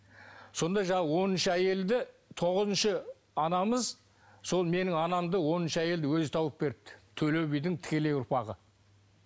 сонда жаңағы оныншы әйелді тоғызыншы анамыз сол менің анамды оныншы әйелді өзі тауып беріпті төле бидің тікелей ұрпағы